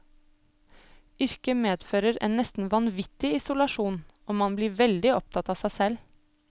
Yrket medfører en nesten vanvittig isolasjon, og man blir veldig opptatt av seg selv.